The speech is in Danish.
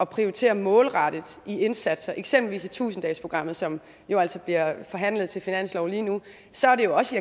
prioritere målrettet i indsatser eksempelvis i tusind dages programmet som jo altså bliver forhandlet til finansloven lige nu så er det jo også